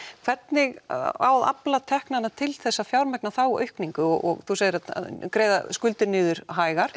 hvernig á að afla teknanna til að fjármagna þá aukningu og þú segir að greiða skuldir niður hægar